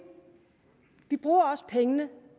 vi bruger også pengene